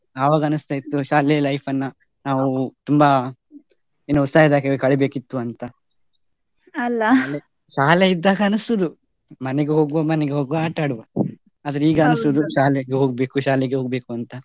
ಆವಾಗ ಅನಿಸ್ತಾ ಇತ್ತು ಶಾಲೆಯ life ಅನ್ನ ನಾವು ತುಂಬಾ ಉತ್ಸಾಹದಲ್ಲಿ ಕಳಿಬೇಕಿತ್ತು ಅಂತ. ಶಾಲೆ ಇದ್ದಾಗ ಅನಿಸುದು ಮನೆಗೆ ಹೋಗ್ವ ಮನೆಗೆ ಹೋಗ್ವ ಆಟಾಡುವ. ಆದ್ರೆ ಶಾಲೆಗೆ ಹೋಗ್ಬೇಕು ಶಾಲೆಗೆ ಹೋಗ್ಬೇಕು ಅಂತ.